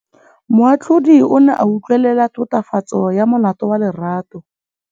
Moatlhodi o ne a utlwelela tatofatsô ya molato wa Lerato.